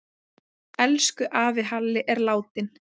Elsku afi Halli er látinn.